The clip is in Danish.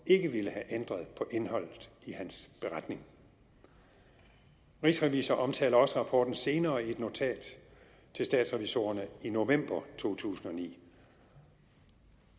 ville have ændret på indholdet i hans beretning rigsrevisor omtaler også rapporten senere i et notat til statsrevisorerne i november to tusind og ni